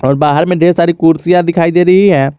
और बाहर में ढेर सारी कुर्सियां दिखाई दे रही है।